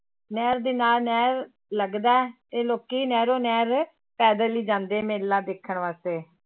ਨਹਿਰ ਦੇ ਨਾਲ ਨਹਿਰ ਲੱਗਦਾ ਹੈ ਤੇ ਲੋਕੀ ਨਹਿਰੋ ਨਹਿਰ ਪੈਦਲ ਹੀ ਜਾਂਦੇ ਮੇਲਾ ਵੇਖਣ ਵਾਸਤੇ।